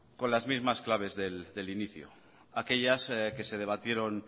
con las mismas claves del inicio aquellas que se debatieron